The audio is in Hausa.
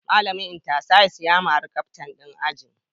Malamin Inter-Science ya mari Captain din ajin